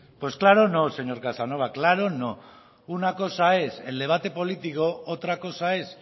pues claro no señor casanova claro no una cosa es el debate político otra cosa es